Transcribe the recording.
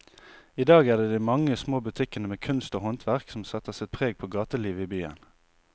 I dag er det de mange små butikkene med kunst og håndverk som setter sitt preg på gatelivet i byen.